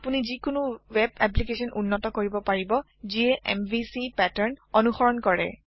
আপুনি যিকোনো web application উন্নত কৰিব পাৰিব যিয়ে এমভিচি পেটাৰ্ন অনুসৰন কৰে